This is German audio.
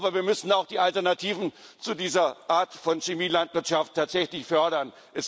Aber wir müssen auch die Alternativen zu dieser Art von Chemie Landwirtschaft tatsächlich fördern.